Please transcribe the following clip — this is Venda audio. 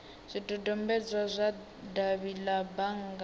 zwidodombedzwa zwa davhi la bannga